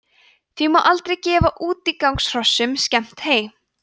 því má aldrei gefa útigangshrossum skemmt hey